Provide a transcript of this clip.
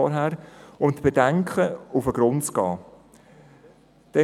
Sie sollen den Bedenken auf den Grund gehen.